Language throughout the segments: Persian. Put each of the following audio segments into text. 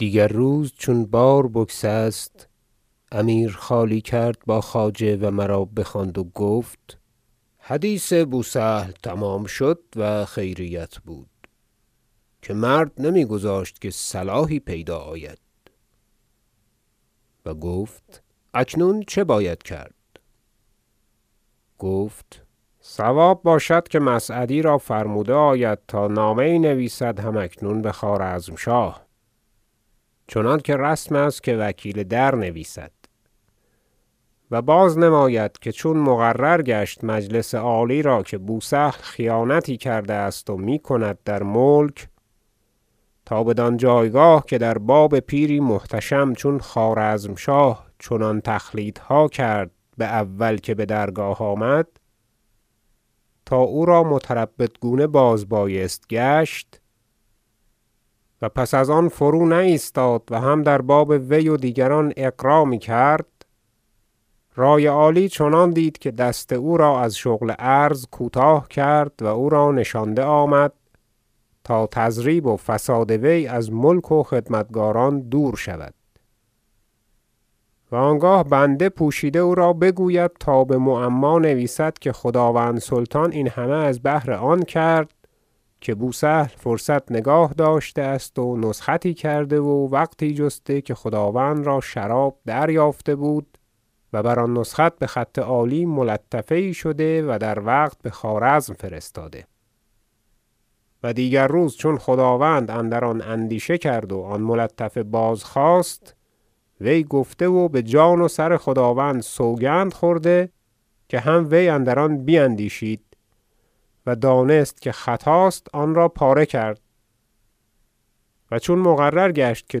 دیگر روز چون بار بگسست امیر خالی کرد با خواجه و مرا بخواندند و گفت حدیث بوسهل تمام شد و خیریت بود که مرد نمیگذاشت که صلاحی پیدا آید و گفت اکنون چه باید کرد خواجه گفت صواب باشد که مسعدی را فرموده آید تا نامه یی نویسد هم اکنون بخوارزمشاه چنانکه رسم است که وکیل در نویسد و بازنماید که چون مقرر گشت مجلس عالی را که بوسهل خیانتی کرده است و میکند در ملک تا بدان جایگاه که در باب پیری محتشم چون خوارزمشاه چنان تخلیطها کرد باول که بدرگاه آمد تا او را متربدگونه بازبایست گشت و پس از آن فرونایستاد و هم در باب وی و دیگران اغرا میکرد رأی عالی چنان دید که دست او را از شغل عرض کوتاه کرد و او را نشانده آمد تا تضریب و فساد وی از ملک و خدمتکاران دور شود و آنگاه بنده پوشیده او را بگوید تا بمعما نویسد که خداوند سلطان این همه از بهر آن کرد که بوسهل فرصت نگاه داشته است و نسختی کرده و وقتی جسته که خداوند را شراب دریافته بود و بر آن نسخت بخط عالی ملطفه یی شده و در وقت بخوارزم فرستاده و دیگر روز چون خداوند اندر آن اندیشه کرد و آن ملطفه بازخواست وی گفته و بجان و سر خداوند سوگند خورده که هم وی اندر آن بیندیشید و دانست که خطاست آنرا پاره کرد و چون مقرر گشت که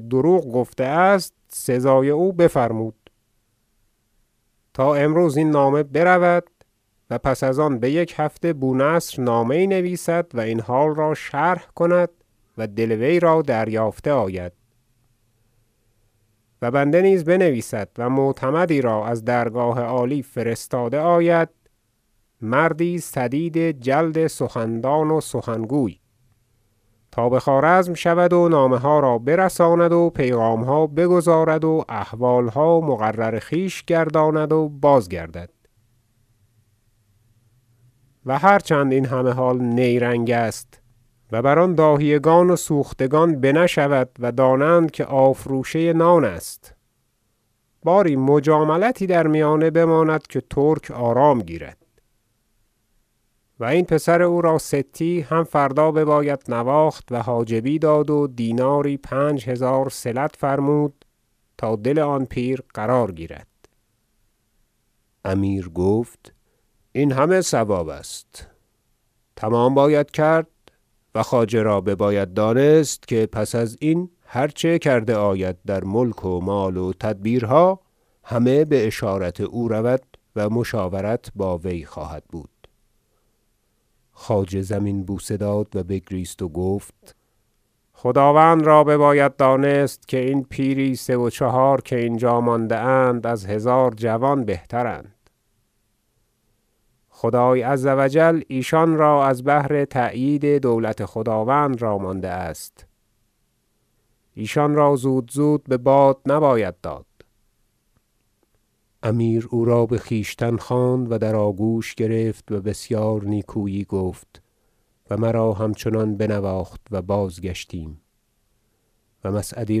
دروغ گفته است سزای او بفرمود تا امروز این نامه برود و پس از آن بیک هفته بونصر نامه یی نویسد و این حال را شرح کند و دل وی را دریافته آید و بنده نیز بنویسد و معتمدی را از درگاه عالی فرستاده آید مردی سدید جلد سخندان و سخنگوی تا بخوارزم شود و نامه ها را برساند و پیغامها بگزارد و احوالها مقرر خویش گرداند و بازگردد و هر چند این همه حال نیرنگ است و بر آن داهیه گان و سوختگان بنه شود و دانند که آفروشه نان است باری مجاملتی در میانه بماند که ترک آرام گیرد و این پسر او را ستی هم فردا بباید نواخت و حاجبی داد و دیناری پنج هزار صلت فرمود تا دل آن پیر قرار گیرد امیر گفت این همه صواب است تمام باید کرد و خواجه را بباید دانست که پس ازین هر چه کرده آید در ملک و مال و تدبیرها همه باشارت او رود و مشاورت با وی خواهد بود خواجه زمین بوسه داد و بگریست و گفت خداوند را بباید دانست که این پیری سه و چهار که اینجا مانده اند از هزار جوان بهتراند خدای عز و جل ایشان را از بهر تأیید دولت خداوند را مانده است ایشان را زود زود بباد نباید داد امیر او را بخویشتن خواند و در آگوش گرفت و بسیار نیکویی گفت و مرا همچنان بنواخت و بازگشتیم و مسعدی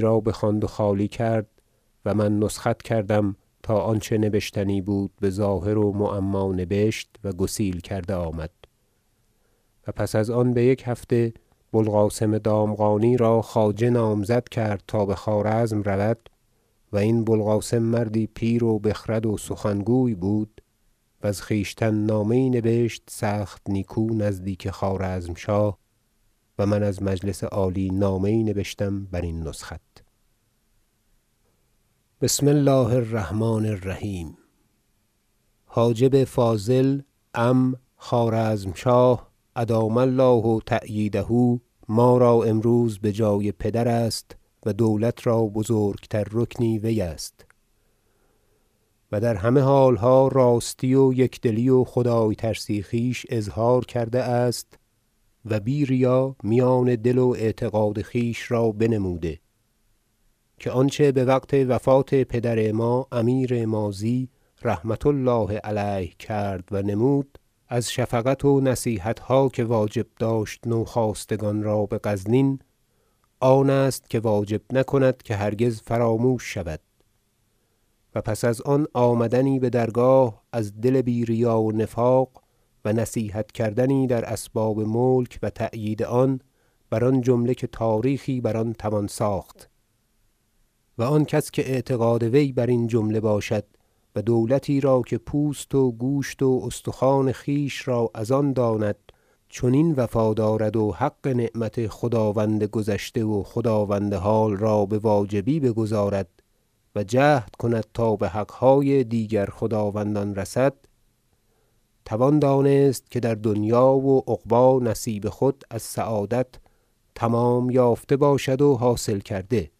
را بخواند و خالی کرد و من نسخت کردم تا آنچه نبشتنی بود بظاهر و معما نبشت و گسیل کرده آمد و پس از آن بیک هفته بوالقاسم دامغانی را خواجه نامزد کرد تا بخوارزم رود و این بوالقاسم مردی پیر و بخرد و سخنگوی بود و ز خویشتن نامه یی نبشت سخت نیکو نزدیک خوارزمشاه و من از مجلس عالی نامه یی نبشم برین نسخت ذکر مثالی که از حضرت شهاب الدوله ابو سعید مسعود رضی الله عنه نبشتند بآلتونتاش خوارزمشاه بسم الله الرحمن الرحیم حاجب فاضل عم خوارزمشاه ادام الله تأییده ما را امروز بجای پدر است و دولت را بزرگتر رکنی وی است و در همه حالها راستی و یکدلی و خدای ترسی خویش اظهار کرده است و بی ریا میان دل و اعتقاد خویش را بنموده که آنچه بوقت وفات پدر ما امیر ماضی رحمة الله علیه کرد و نمود از شفقت و نصیحت ها که واجب داشت نوخاستگان را بغزنین آن است که واجب نکند که هرگز فراموش شود و پس از آن آمدنی بدرگاه از دل بی ریا و نفاق و نصیحت کردنی در اسباب ملک و تأیید آن بر آن جمله که تاریخی بر آن توان ساخت و آن کس که اعتقاد وی برین جمله باشد و دولتی را که پوست و گوشت و استخوان خویش را از آن داند چنین وفا دارد و حق نعمت خداوند گذشته و خداوند حال را بواجبی بگزارد و جهد کند تا بحقهای دیگر خداوندان رسد توان دانست که در دنیا و عقبی نصیب خود از سعادت تمام یافته باشد و حاصل کرده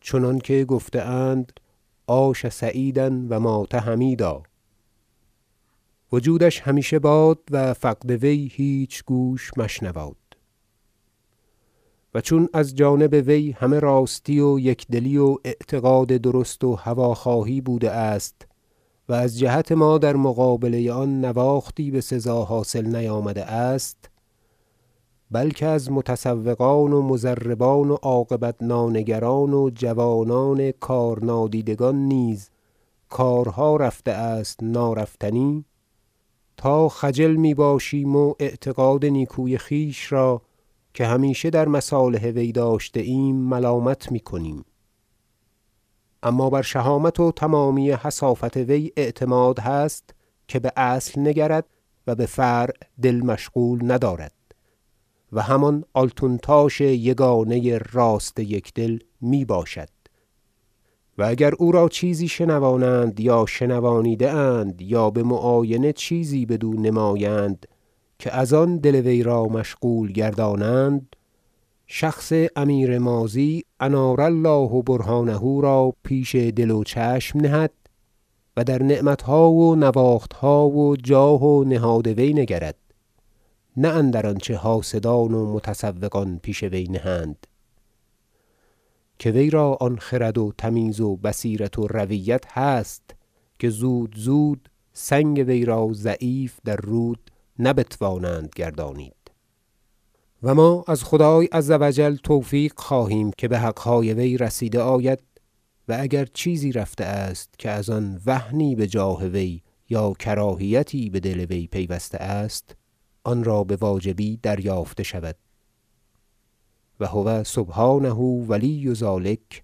چنانکه گفته اند عاش سعیدا و مات حمیدا وجودش همیشه باد و فقد وی هیچ گوش مشنواد و چون از جانب وی همه راستی و یکدلی و اعتقاد درست و هوی خواهی بوده است و از جهت ما در مقابله آن نواختی بسزا حاصل نیامده است بلکه از متسوقان و مضربان و عاقبت نانگران و جوانان کار نادیدگان نیز کارها رفته است نارفتنی تا خجل میباشیم و اعتقاد نیکوی خویش را که همیشه در مصالح وی داشته ایم ملامت میکنیم اما بر شهامت و تمامی حصافت وی اعتماد هست که باصل نگرد و بفرع دل مشغول ندارد و همان آلتونتاش یگانه راست یکدل میباشد و اگر او را چیزی شنوانند یا شنوانیده اند یا بمعاینه چیزی بدو نمایند که از آن دل وی را مشغول گردانند شخص امیر ماضی انار الله برهانه را پیش دل و چشم نهد و در نعمتها و نواختها و جاه و نهاد وی نگرد نه اندر آنچه حاسدان و متسوقان پیش وی نهند که وی را آن خرد و تمیز و بصیرت و رویت هست که زود زود سنگ وی را ضعیف در رود نبتوانند گردانید و ما از خدای عز و جل توفیق خواهیم که بحقهای وی رسیده آید و اگر چیزی رفته است که از آن وهنی بجاه وی یا کراهیتی بدل وی پیوسته است آنرا بواجبی دریافته شود و هو سبحانه ولی ذلک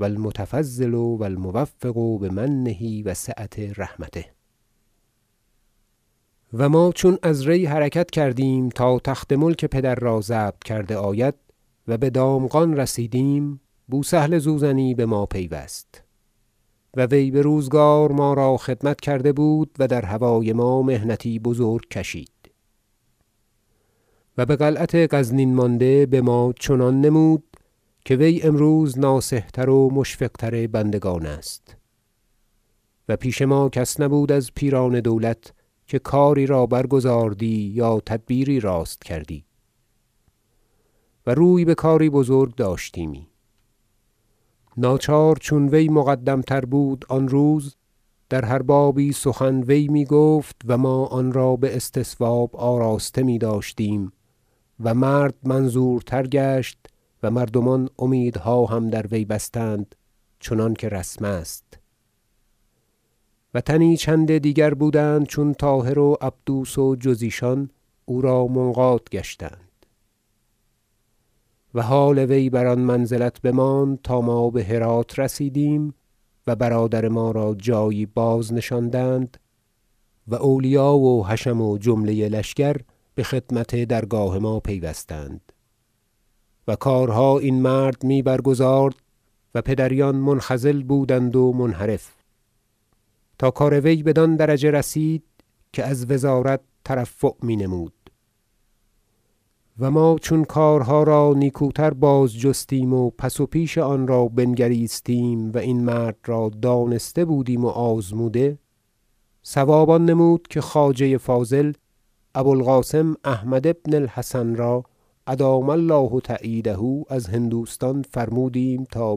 و المتفضل و الموفق بمنه وسعة رحمته و ما چون از ری حرکت کردیم تا تخت ملک پدر را ضبط کرده آید و بدامغان رسیدیم بوسهل زوزنی بما پیوست و وی بروزگار ما را خدمت کرده بود و در هوای ما محنتی بزرگ کشید و بقلعت غرنین مانده بما چنان نمود که وی امروز ناصح تر و مشفق تر بندگان است و پیش ما کس نبود از پیران دولت که کاری را برگزاردی یا تدبیری راست کردی و روی بکاری بزرگ داشتیمی ناچار چون وی مقدم تر بود آن روز در هر بابی سخن وی میگفت و ما آنرا باستصواب آراسته میداشتیم و مرد منظورتر گشت و مردمان امیدها هم در وی بستند چنانکه رسم است و تنی چند دیگر بودند چون طاهر و عبدوس و جز ایشان او را منقاد گشتند و حال وی بر آن منزلت بماند تا ما بهرات رسیدیم و برادر ما را جایی بازنشاندند و اولیا و حشم و جمله لشکر بخدمت درگاه ما پیوستند و کارها این مرد می برگزارد و پدریان منخزل بودند و منحرف تا کار وی بدان درجه رسید که از وزارت ترفع مینمود و ما چون کارها را نیکوتر بازجستیم و پس و پیش آنرا بنگریستیم و این مرد را دانسته بودیم و آزموده صواب آن نمود که خواجه فاضل ابو القاسم احمد بن الحسن را ادام الله تأییده از هندوستان فرمودیم تا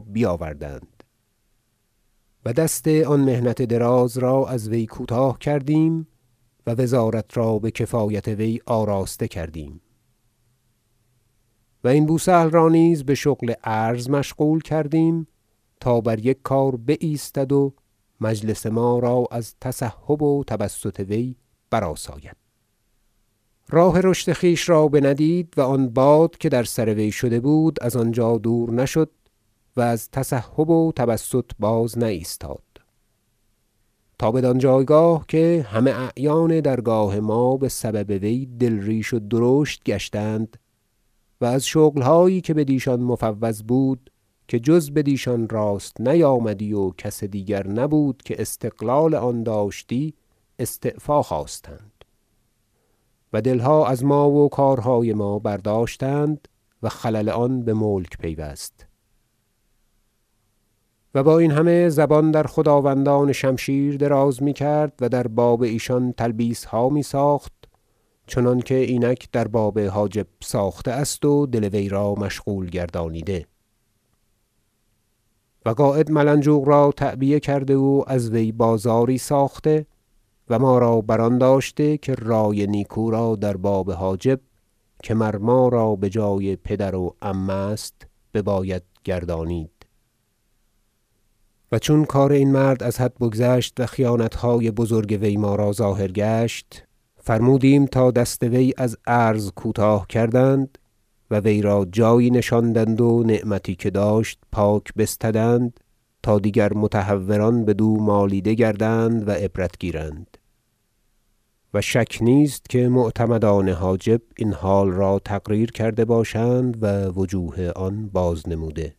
بیاوردند و دست آن محنت دراز را از وی کوتاه کردیم و وزارت را بکفایت وی آراسته کردیم و این بوسهل را نیز بشغل عرض مشغول کردیم تا بر یک کار بایستد و مجلس ما از تسحب و تبسط وی برآساید اماوی راه رشد خویش را بندید و آن باد که در سروی شده بود از آنجا دور نشد و از تسحب و تبسط بازنایستاد تا بدان جایگاه که همه اعیان درگاه ما بسبب وی دلریش و درشت گشتند و از شغلهایی که بدیشان مفوض بود که جز بدیشان راست نیامدی و کس دیگر نبود که استقلال آن داشتی استعفا خواستند و دلها از ما و کارهای ما برداشتند و خلل آن بملک پیوست و با این همه زبان در خداوندان شمشیر دراز میکرد و در باب ایشان تلبیسها میساخت چنانکه اینک در باب حاجب ساخته است و دل ویرا مشغول گردانیده و قاید ملنجوق را تعبیه کرده و از وی بازاری ساخته و ما را بر آن داشته که رأی نیکو را در باب حاجب که مر ما را بجای پدر و عم است بباید گردانید و چون کار این مرد از حد بگذشت و خیانتهای بزرگ وی ما را ظاهر گشت فرمودیم تا دست وی از عرض کوتاه کردند و وی را جایی نشاندند و نعمتی که داشت پاک بستدند تا دیگر متهوران بدو مالیده گردند و عبرت گیرند و شک نیست که معتمدان حاجب این حال را تقریر کرده باشند و وجوه آنرا بازنموده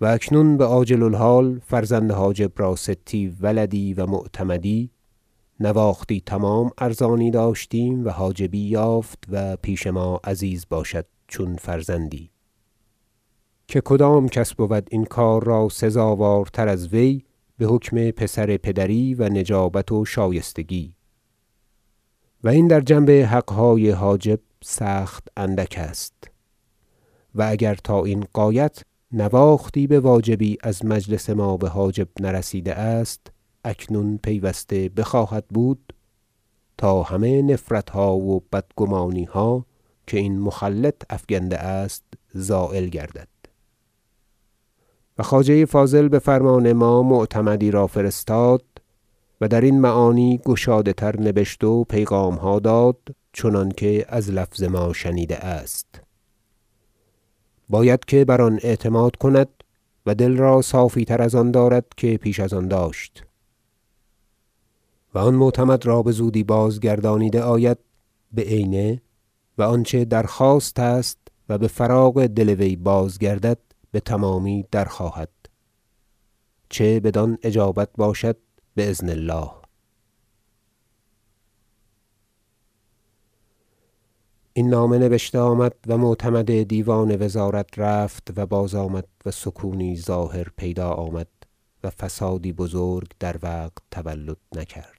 و اکنون بعاجل الحال فرزند حاجب را ستی ولدی و معتمدی نواختی تمام ارزانی داشتیم و حاجبی یافت و پیش ما عزیز باشد چون فرزندی که کدام کس بود این کار را سزاوارتر از وی بحکم پسر پدری و نجابت و شایستگی و این در جنب حقهای حاجب سخت اندک است و اگر تا این غایت نواختی بواجبی از مجلس ما بحاجب نرسیده است اکنون پیوسته بخواهد بود تا همه نفرتها و بدگمانیها که این مخلط افکنده است زایل گردد و خواجه فاضل بفرمان ما معتمدی را فرستاد و درین معانی گشاده تر نبشت و پیغامها داد چنانکه از لفظ ما شنیده است باید که بر آن اعتماد کند و دل را صافی تر از آن دارد که پیش از آن داشت و آن معتمد را بزودی بازگردانیده آید بعینه و آنچه درخواست است و بفراغ دل وی بازگردد بتمامی درخواهد چه بدان اجابت باشد باذن الله این نامه نبشته آمد و معتمد دیوان وزارت رفت و بازآمد و سکونی ظاهر پیدا آمد و فسادی بزرگ در وقت تولد نکرد